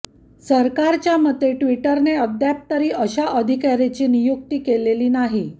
सरकारच्या मते ट्वीटरने अद्याप तरी अशा अधिकाऱ्याची नियुक्ती केलेली नाही